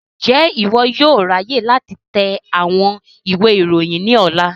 Njẹ iwọ yóò ráyè láti tẹ àwọn ìwé ìròyìn ní ọ̀la?